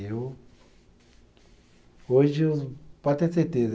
Eu. Hoje eu, pode ter certeza.